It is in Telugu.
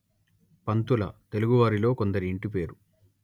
పంతుల తెలుగువారిలో కొందరి ఇంటిపేరు